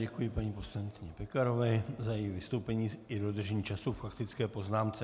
Děkuji paní poslankyni Pekarové za její vystoupení i dodržení času k faktické poznámce.